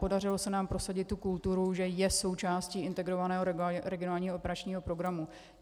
Podařilo se nám prosadit tu kulturu, že je součástí Integrovaného regionálního operačního programu.